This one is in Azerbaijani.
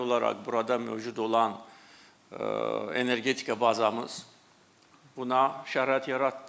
Təbii olaraq burada mövcud olan energetika bazamız buna şərait yaratdı.